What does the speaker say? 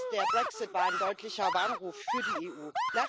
Besonders der Brexit war ein deutlicher Warnruf für die EU.